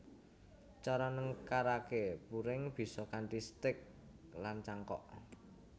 Cara nengkaraké puring bisa kanthi stek lan cangkok